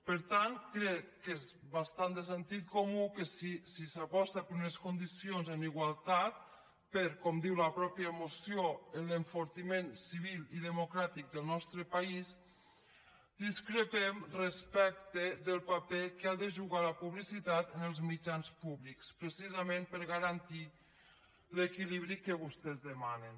per tant crec que és bastant de sentit comú que si s’aposta per unes condicions en igualtat per com diu la mateixa moció l’enfortiment civil i democràtic del nostre país discrepem respecte del paper que ha de jugar la publicitat en els mitjans públics precisament per garantir l’equilibri que vostès demanen